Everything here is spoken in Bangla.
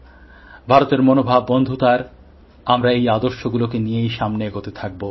ভারতের মনভাব বন্ধুতার আমরা এই আদর্শগুলোকে নিয়েই আগে এগোতে থাকব